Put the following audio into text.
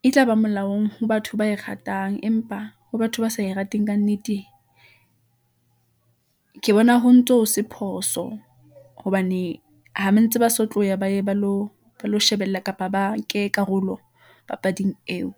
e tlaba molaong ho batho ba e ratang . Empa ho batho ba sa e rateng ka nnete , ke bona ho ntso ho se phoso , hobane ha ba ntse ba so tloya, ba ye ba lo shebella kapa ba ke karolo papading eo.